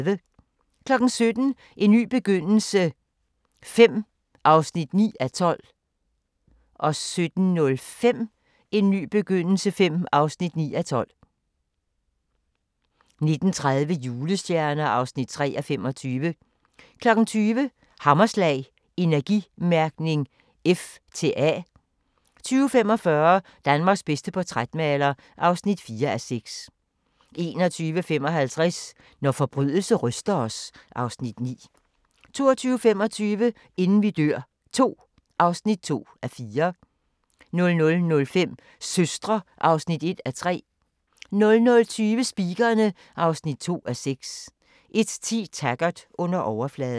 17:00: En ny begyndelse V (9:12) 17:05: En ny begyndelse V (9:12) 19:30: Julestjerner (3:25) 20:00: Hammerslag - Energimærkning F til A 20:45: Danmarks bedste portrætmaler (4:6) 21:55: Når forbrydelse ryster os (Afs. 9) 22:25: Inden vi dør II (2:4) 00:05: Søstre (1:3) 00:20: Speakerine (2:6) 01:10: Taggart: Under overfladen